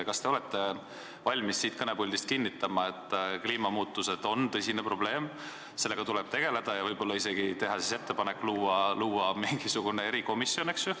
Kas te olete valmis siit kõnepuldist kinnitama, et kliimamuutused on tõsine probleem, sellega tuleb tegeleda ja võib-olla isegi teha ettepanek luua mingisugune erikomisjon?